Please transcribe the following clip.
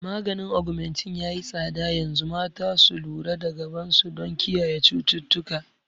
Maganin Augmentin yayi tsada yanzu, mata su lura da gaban su don kiyaye cututtuka